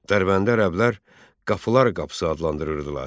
Dərbəndi ərəblər qapılar qapısı adlandırırdılar.